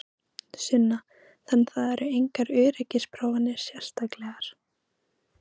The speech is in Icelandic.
Sunna: Þannig það eru engar öryggisprófanir sérstaklegar?